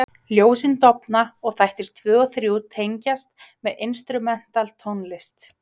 Ljósin dofna og þættir 2 og 3 tengjast með instrumental tónlist.